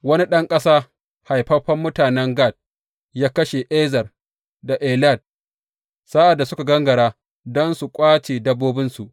Wani ɗan ƙasa haifaffen mutanen Gat ya kashe Ezer da Elad, sa’ad da suka gangara don su ƙwace dabbobinsu.